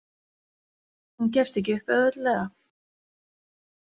Hún gefst ekki upp auðveldlega.